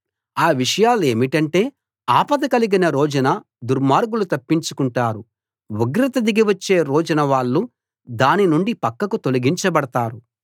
ఆ విషయాలేమిటంటే ఆపద కలిగిన రోజున దుర్మార్గులు తప్పించుకుంటారు ఉగ్రత దిగి వచ్చే రోజున వాళ్ళు దాని నుండి పక్కకు తొలగించబడతారు